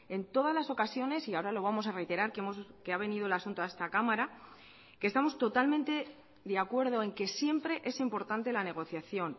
en todas las ocasiones y ahora lo vamos a reiterar que ha venido el asunto a esta cámara que estamos totalmente de acuerdo en que siempre es importante la negociación